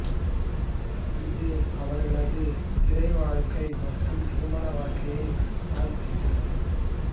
இது அவர்களது திரை வாழ்க்கை மற்றும் திருமண வாழ்க்கையைப் பாதித்தது